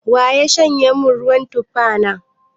Wa ya shanye min ruwan tufa na?